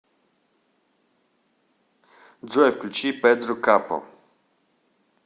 джой включи педро капо